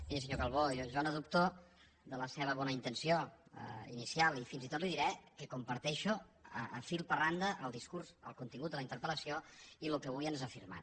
miri senyor calbó jo no dubto de la seva bona intenció inicial i fins i tot li diré que comparteixo fil per randa el discurs el contingut de la interpel·lació i el que avui ens ha afirmat